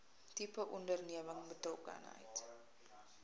tipe onderneming betrokkenheid